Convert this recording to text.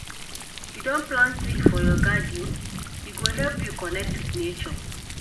You don plant tree for your garden? E go help you connect wit nature.